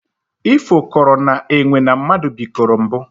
Ifo kọrọ na enwe na mmadụ bikoro mbụ